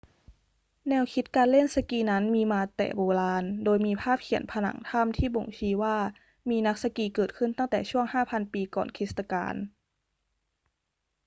แนวคิดการเล่นสกีนั้นมีมาแต่โบราณ โดยมีภาพเขียนผนังถ้ำที่บ่งชี้ว่ามีนักสกีเกิดขึ้นตั้งแต่ช่วง 5,000 ปีก่อนคริสตกาล